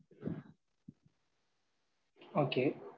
Okay.